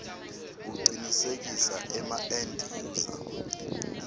kucinisekisa emaend user